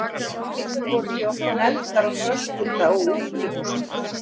Skeifur voru því oft negldar á þröskulda á útihúsum.